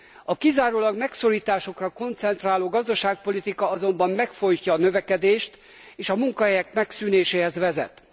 A kizárólag megszorításokra koncentráló gazdaságpolitika azonban megfojtja a növekedést és a munkahelyek megszűnéséhez vezet.